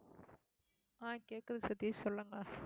ஆஹ் கேக்குது சதீஷ் சொல்லுங்க